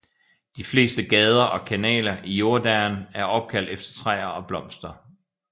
De fleste gader og kanaler i Jordaan er opkaldt efter træer og blomster